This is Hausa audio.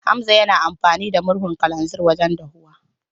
Hamza yana amfani da murhun kananzir wajen dafuwa.